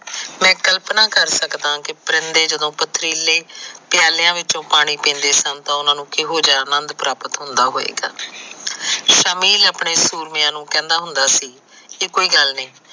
ਮੈ ਕਲਪਨਾ ਕਰ ਸਕਦਾ ਕਿ ਪਰਨੇ ਜਦੋ ਪਥਰੀਲੇ ਪਿਆਲਿਆ ਵਿਚੋਂ ਪਾਣੀ ਪੀਂਦੇ ਸਨ ਤਾ ਉਹਨਾਂ ਨੂੰ ਕਿਹੋ ਜਿਹਾ ਆਨੰਦ ਪ੍ਰਾਪਤ ਹੁੰਦਾ ਹੋਏਗਾ ਸ਼ਮੀਲ ਆਪਣੇ ਸੂਰਮਿਆ ਨੂੰ ਕਹਿੰਦਾ ਹੁੰਦਾ ਸੀ ਕਿ ਕੋਈ ਗੱਲ ਨੀ